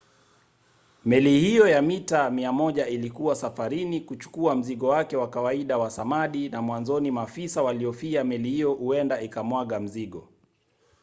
meli hiyo ya mita 100 ilikuwa safarini kuchukua mzigo wake wa kawaida wa samadi na mwanzoni maafisa walihofia meli hiyo huenda ikamwaga mzigo